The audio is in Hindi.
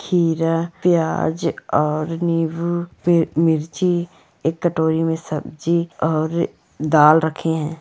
खीरा प्याज और नींबू फिर मिर्ची एक कटोरी में सब्जी और दाल रखे हैं।